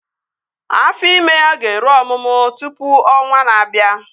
Afọ ime ya ga-eru ọmụmụ tụpụ ọnwaa na-abịa